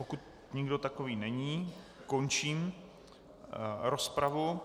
Pokud nikdo takový není, končím rozpravu.